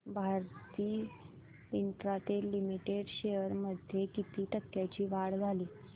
Bharti Infratel Limited shares मध्ये किती टक्क्यांची वाढ झाली